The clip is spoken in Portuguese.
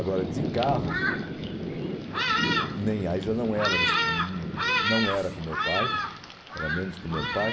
Agora, de carro, nem aí já não não era com meu pai, era menos com meu pai.